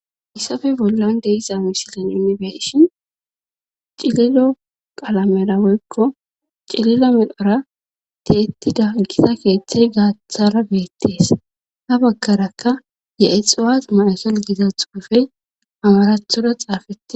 Issappe bollan de'iza misilin yunibeshin cililo qalamedawoykko cililo midhora tiyettida gisa keeththey gaaththara beettees ha bakarakka ye7e xuwas mayesal giza xuufey amarathoda xaafete.